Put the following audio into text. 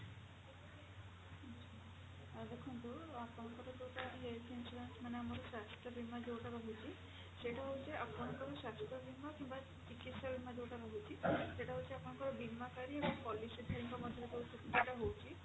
ତ ଦେଖନ୍ତୁ ଆପଣଙ୍କର ଯୋଉଟା health insurance ମାନେ ଆମର ସ୍ୱାସ୍ଥ୍ୟ ବୀମା ଯୋଉଟା ରହୁଛି ସେଇଟା ହଉଛି ଆପଣଙ୍କର ସ୍ୱାସ୍ଥ୍ୟ ବୀମା କିମ୍ବା ଚିକିତ୍ସା ବୀମା ଯୋଉଟା ରହୁଛି ସେଇଟା ହଉଛି ଆପଣଙ୍କ ବୀମାକାରୀ ଏବଂ policy file ମଧ୍ୟରେ ରହୁଛି